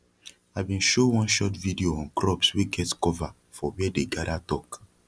i bin show one short video on crops wey get cova for wia dey gada talk